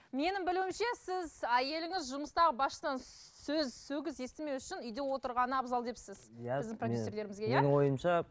менің білуімше сіз әйеліңіз жұмыстағы басшыдан сөз сөгіс естімеу үшін үйде отырғаны абзал депсіз иә біздің продюссерлерімізге иә менің ойымша